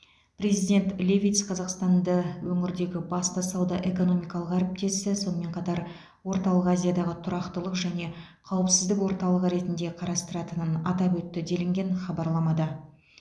президент левитс қазақстанды өңірдегі басты сауда экономикалық әріптесі сонымен қатар орталық азиядағы тұрақтылық және қауіпсіздік орталығы ретінде қарастыратынын атап өтті делінген хабарламада